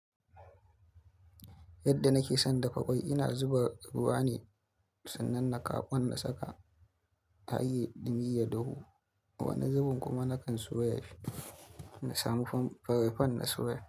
Yadda nake son dafa kwai, ina zuba ruwa ne sannan nakawo ƙwan na saka a yi, dan ya dahu. Wani zubun kuma nakan soya shi, na samu frying pan na soya.